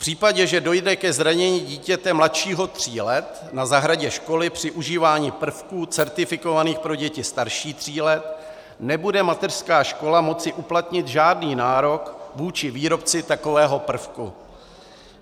V případě, že dojde ke zranění dítěte mladšího tří let na zahradě školy při užívání prvků certifikovaných pro děti starší tří let, nebude mateřská škola moci uplatnit žádný nárok vůči výrobci takového prvku.